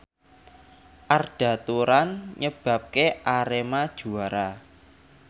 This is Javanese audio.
Arda Turan nyebabke Arema juara